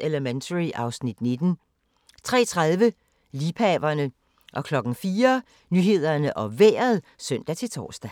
Elementary (Afs. 19)* 03:30: Liebhaverne 04:00: Nyhederne og Vejret (søn-tor)